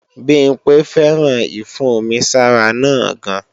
Bimpe féràn ìfún-omi-sára náà gan